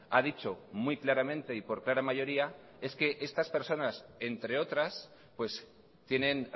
ha dicho muy claramente y por clara mayoría es que estas personas entre otras tienen